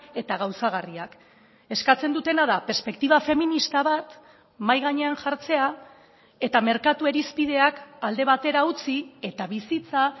eta gauzagarriak eskatzen dutena da perspektiba feminista bat mahai gainean jartzea eta merkatu irizpideak alde batera utzi eta bizitza